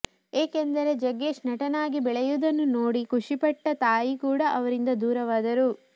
ಏಕೆಂದರೆ ಜಗ್ಗೇಶ್ ನಟನಾಗಿ ಬೆಳೆಯುವುದನ್ನು ನೋಡಿ ಖುಷಿ ಪಟ್ಟ ತಾಯಿ ಕೂಡ ಅವರಿಂದ ದೂರವಾದರು